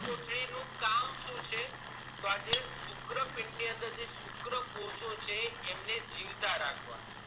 વૃષણકોથળી નું કામ શું છે તો આ શુક્રપીંડ ની અંદર આ જે શુક્રકોષો છે એમને જીવતા રાખવા